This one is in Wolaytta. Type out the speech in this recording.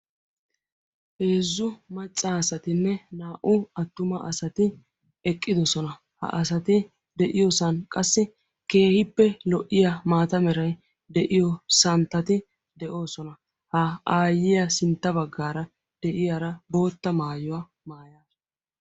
heezzu maccaasatinne naa"u attuma asati eqqidosona ha asati de'iyoosan qassi keehippe lo'iya maata meray de'iyo santtati de'oosona. ha aayyiya sintta baggaara de'iyaara bootta maayuwaa maayaa